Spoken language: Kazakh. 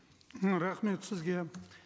і рахмет сізге